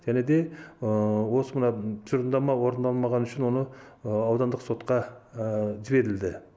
және де осы мына тұжырымдама орындалмағаны үшін оны аудандық сотқа жіберілді